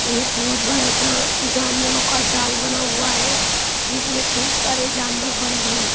एक बहुत बड़ा जा जानवरों का जाल बना हुआ है जिसमें खूब सारे जानवर बंद हैं।